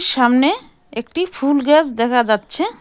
সামনে একটি ফুল গাস দেখা যাচ্ছে।